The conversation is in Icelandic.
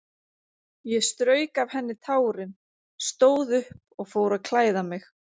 Ég strauk af henni tárin, stóð upp og fór að klæða mig.